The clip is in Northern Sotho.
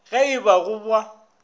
ge e ba go ba